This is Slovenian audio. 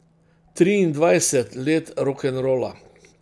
Triindvajset let rokenrola.